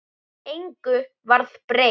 Engu varð breytt.